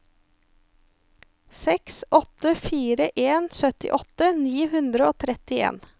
seks åtte fire en syttiåtte ni hundre og trettien